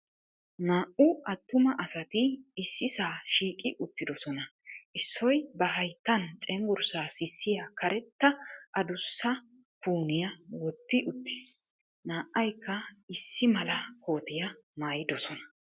Naa"u attuma asati ississaa shiiqqi uttiddossona. Issoy ba hayttan cenggurssaa sissiya karetta addussa pooniya wotti uttiis, na'aykka issi mala kootiya maaddoosona.